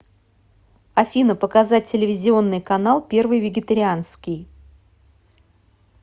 афина показать телевизионный канал первый вегетарианский